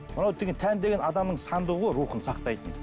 мынау деген тән деген адамның сандығы ғой рухын сақтайтын